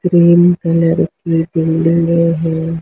Green colour की बिल्डिंगे हैं।